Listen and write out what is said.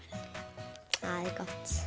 það er gott